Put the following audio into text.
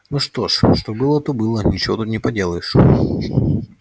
ну что ж что было то было ничего тут не поделаешь